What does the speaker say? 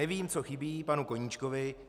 Nevím, co chybí panu Koníčkovi.